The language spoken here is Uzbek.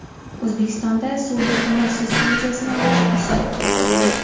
O‘zbekistonda suvli ko‘mir suspenziyasini olish usuli ixtiro qilindi.